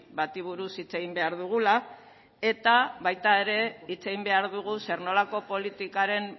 bati buruz hitz egin behar dugula eta baita ere hitz egin behar dugu zer nolako politikaren